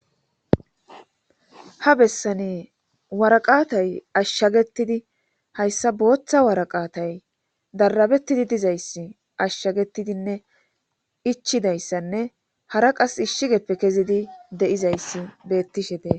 ha bessani waraqatay ashshagetidi hayssa booththa waraqatay darabettidi dizayssi ashshagetidinne ichidayssanne hara qas ishshigeppe kezidi de7izayssi beettishe dees